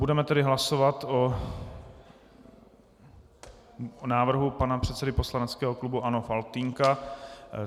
Budeme tedy hlasovat o návrhu pana předsedy poslaneckého klubu ANO Faltýnka.